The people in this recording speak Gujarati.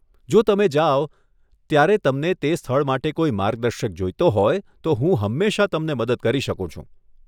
જો તમે જાઓ ત્યારે તમને તે સ્થળ માટે કોઈ માર્ગદર્શક જોઈતો હોય, તો હું હંમેશા તમને મદદ કરી શકું છું.